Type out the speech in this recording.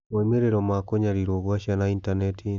Moimĩrĩro ma kũnyarirũo gwa ciana intaneti-inĩ